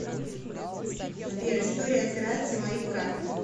сбер история операций моих карт